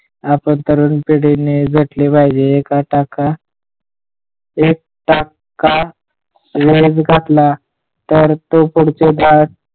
आपण तरुण पिढी ने झटले पाहिजे आपण एकदा का? ए क दा तर तो पुढच्या पिढी ने,